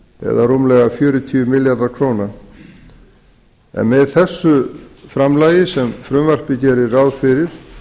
eða rúmlega fjörutíu milljarðar króna með þessu framlagi sem frumvarpið gerir ráð fyrir